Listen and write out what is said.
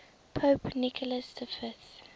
pope nicholas v